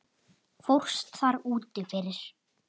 fórst þar úti fyrir.